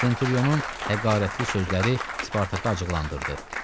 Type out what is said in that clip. Centurionun həqarətli sözləri Spartakı acıqlandırdı.